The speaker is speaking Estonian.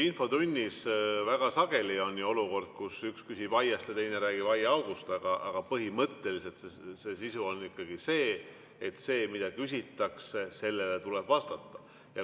Infotunnis on väga sageli olukordi, kus üks räägib aiast ja teine aiaaugust, aga põhimõtteliselt on ikkagi nii, et sellele, mida küsitakse, tuleb vastata.